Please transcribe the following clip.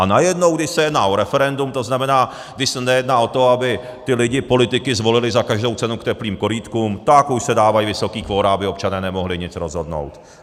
A najednou když se jedná o referendum, to znamená, když se nejedná o to, aby ty lidi politiky zvolili za každou cenu k teplým korýtkům, tak už se dávají vysoký kvora, aby občané nemohli nic rozhodnout.